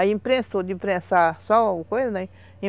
Aí imprensou, de imprensar só alguma coisa, né?